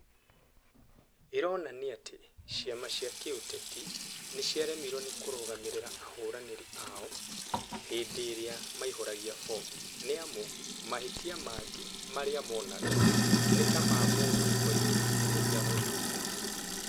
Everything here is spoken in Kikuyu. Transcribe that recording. "ĩronania atĩ ciama cia kĩũteti, niciaremirwo ni kurugamirira ahuraniri ao hinfi-iria maihuragua bomu, ni amu mahitia magi maria monega ni ta ma mumdu waiyuritie niguo ahotwo tene